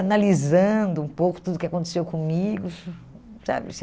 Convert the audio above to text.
Analisando um pouco tudo o que aconteceu comigo. Sabe